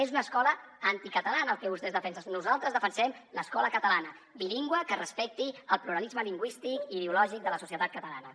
és una escola anticatalana el que vostès defensen nosaltres defensem l’escola catalana bilingüe que respecti el pluralisme lingüístic i ideològic de la societat catalana